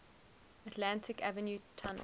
atlantic avenue tunnel